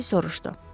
Makkinte soruşdu.